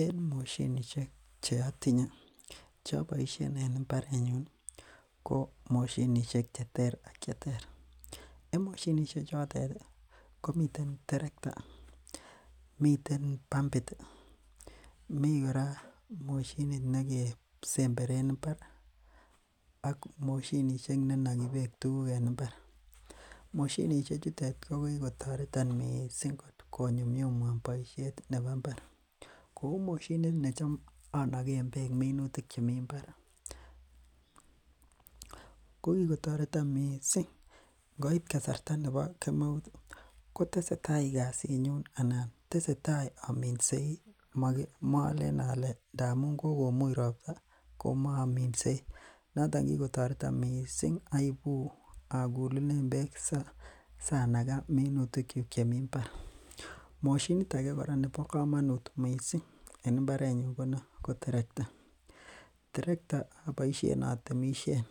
En moshinishek cheotinye choboishen en imbarenyun ko moshinishek cheter ak cheter, en moshinishe chotet komiten terekta, miten pampit, mii kora moshini nekesemberen mbar ak moshinishek nenoki beek en mbar, moshinishe chuton ko kikotoreton mising konyumnyumwan boishet nebo mbar, kouu moshinit netam onoken beek minutik chemi mbar ko kikotoreton mising ngoit kasarta nebo kemeut koteseta kasinyun anan tesetai ominsei moleen olee ndamun kokomuny robta komoominsei, noton kikotoreton mising aibu akulunen beek sanaka minutikyuk chemii mbar, moshinit akee nebo komonnut mising en imbarenyun ko terekta, terekta aboishen atemishen,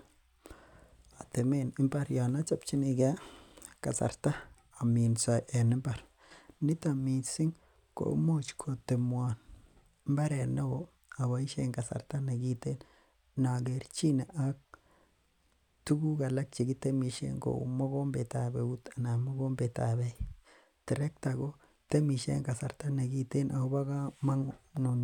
atemen imbar yoon ochobchinike kasarta aminso en imbar niton mising komuch kotemwon imbaret neo aboishsen kasarta nekiten nokerchine ak tukuk alak chekitemishen kou mokombetab euut anan mokombetab eeik, terekta ko temishe en kasarta nekiten ak kobo komonut.